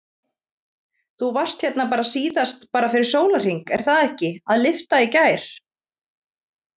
Þú varst hérna bara síðast bara fyrir sólarhring, er það ekki, að lyfta í gær?